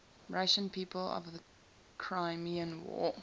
russian people of the crimean war